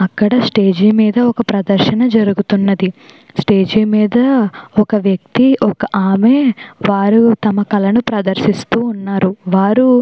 అక్కడ స్టేజి మీద ఒక ప్రదర్శన జరుగుతూ ఉన్నది స్టేజి మీద ఒక వ్యక్తి ఒక ఆమె వారు తమ కల ని ప్రదర్శిస్తూ ఉన్నారు వారు.